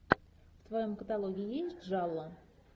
в твоем каталоге есть джалло